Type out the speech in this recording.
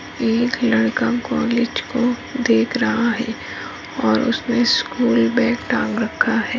एक लड़का कॉलेज को देख रहा है और उसने स्कूल बैग टांग रखा है।